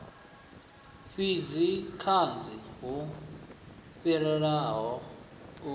fhidzi kanzhi hu fhirelaho u